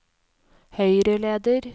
høyreleder